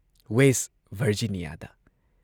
west ꯚꯔꯖꯤꯅꯤꯌꯥꯗ